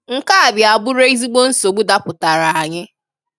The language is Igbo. Nke a bịa bụrụ ezigbo nsogbu dapụtara anyị